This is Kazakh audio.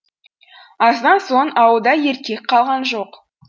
аздан соң ауылда еркек қалған жоқ